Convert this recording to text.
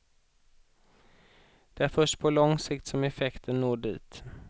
Det är först på lång sikt som effekten når dit.